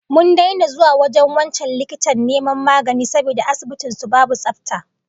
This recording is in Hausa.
Mun daina zuwa wajen wancan likitan neman magani saboda asibitin sa babu tsafta